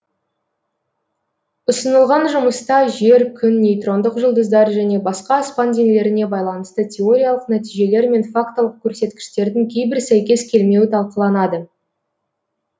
ұсынылған жұмыста жер күн нейтрондық жұлдыздар және басқа аспан денелеріне байланысты теориялық нәтижелер мен фактылық көрсеткіштердің кейбір сәйкес келмеуі талқыланады